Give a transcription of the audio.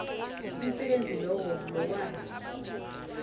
umsebenzi lowo lowa